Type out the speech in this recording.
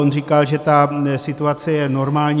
On říkal, že ta situace je normální.